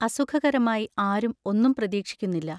അസുഖകരമായി ആരും ഒന്നും പ്രതീക്ഷിക്കുന്നില്ല.